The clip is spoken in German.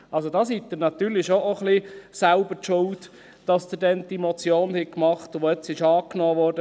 Also: Da sind Sie auch ein wenig selbst schuld, dass sie damals diese Motion gemacht hatten, die jetzt angenommen wurde.